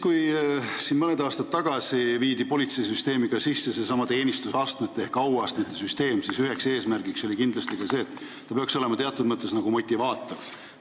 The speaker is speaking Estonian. Kui mõni aasta tagasi kehtestati politseis seesama teenistusastmete ehk auastmete süsteem, siis üks eesmärk oli kindlasti, et see peaks olema teatud mõttes motivaator.